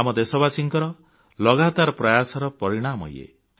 ଆମ ଦେଶବାସୀଙ୍କର ଲଗାତାର ପ୍ରୟାସର ପରିଣାମ ଇଏ